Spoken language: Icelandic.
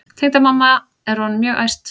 Tengdamamma er orðin mjög æst.